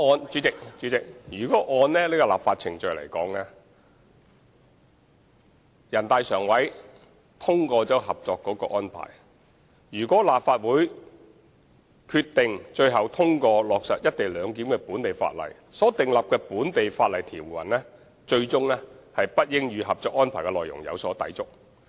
主席，就立法程序而言，全國人大常委會通過了《合作安排》，立法會最終通過落實"一地兩檢"安排的本地法例，是不應與《合作安排》的內容有所抵觸的。